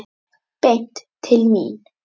Beint til mín!